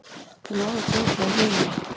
Þeir náðu fljótlega hinum.